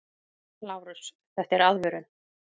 LÁRUS: Þetta er aðvörun!